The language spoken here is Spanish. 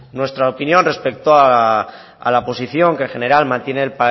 nuestra opinión respecto a la posición que en general mantiene